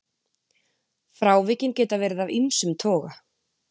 Frávikin geta verið af ýmsum toga.